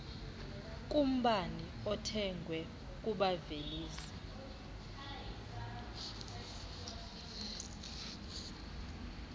kumbane othengwe kubavelisi